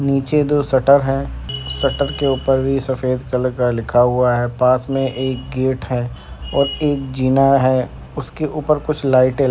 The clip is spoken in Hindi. नीचे दो शटर है शटर के ऊपर भी सफेद कलर का लिखा हुआ है। पास में एक गेट है और एक जीना है उसके उपर कुछ लाइटें --